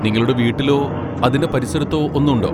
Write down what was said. നിങ്ങളുടെ വീട്ടിലോ അതിന്റെ പരിസരത്തോ ഒന്ന് ഉണ്ടോ?